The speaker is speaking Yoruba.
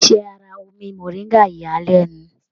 Iṣẹ àrà omí moringa yà a lẹnu.